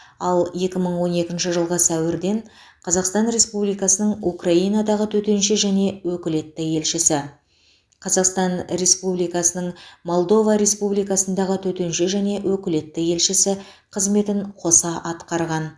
ал екі мың он екінші жылғы сәуірден қазақстан республикасының украинадағы төтенше және өкілетті елшісі қазақстан республикасының молдова республикасындағы төтенше және өкілетті елшісі қызметін қоса атқарған